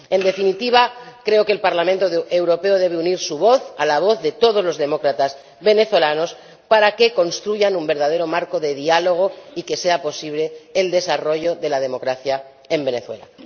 En definitiva, creo que el Parlamento Europeo debe unir su voz a la voz de todos los demócratas venezolanos para que construyan un verdadero marco de diálogo y que sea posible el desarrollo de la democracia en Venezuela.